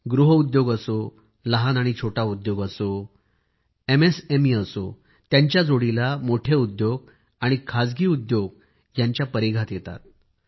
गृह उद्योग असो लहान आणि छोटा उद्योग असो एमएसएमई असो त्याच्या जोडीला मोठे उद्योग आणि खाजगी उद्योगांच्या क्षेत्रांमध्ये येतात